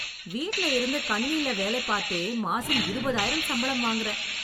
வீட்ல இருந்து கணினில வேலை பாத்தே மாசம் இருபதாயிரம் சம்பளம் வாங்குறேன்.